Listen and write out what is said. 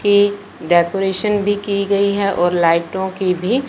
इ डेकोरेशन भी गई है और लाइटो की भी--